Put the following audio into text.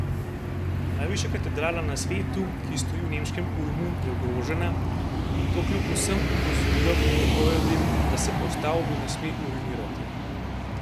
Najvišja katedrala na svetu, ki stoji v nemškem Ulmu, je ogrožena, in to kljub vsem opozorilom in prepovedim, da se po stavbi ne sme urinirati.